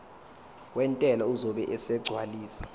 wentela uzobe esegcwalisa